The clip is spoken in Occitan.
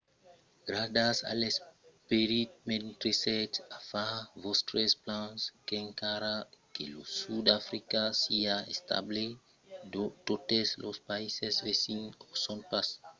gardatz a l'esperit mentre sètz a far vòstres plans qu'encara que lo sud d'africa siá estable totes los païses vesins o son pas